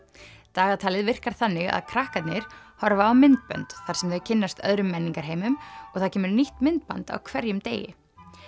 dagatalið virkar þannig að krakkarnir horfa á myndbönd þar sem þau kynnast öðrum menningarheimum og það kemur nýtt myndband á hverjum degi